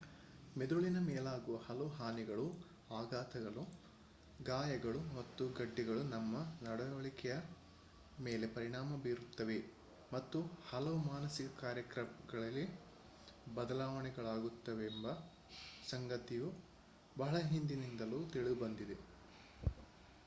ಮೆದುಳಿನ ಮೇಲಾಗುವ ಹಲವು ಹಾನಿಗಳು ಆಘಾತಗಳು ಗಾಯಗಳು ಮತ್ತು ಗೆಡ್ಡೆಗಳು ನಮ್ಮ ನಡವಳಿಕೆಯ ಮೇಲೆ ಪರಿಣಾಮ ಬೀರುತ್ತವೆ ಮತ್ತು ಕೆಲವು ಮಾನಸಿಕ ಕಾರ್ಯಗಳಲ್ಲಿ ಬದಲಾವಣೆಗಳಾಗುತ್ತವೆಂಬ ಸಂಗತಿಯು ಬಹಳ ಹಿಂದಿನಿಂದಲೂ ತಿಳಿದುಬಂದಿದೆ